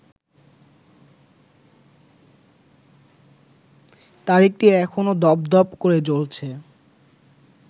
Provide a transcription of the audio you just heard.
তারিখটি এখনো দপদপ করে জ্বলছে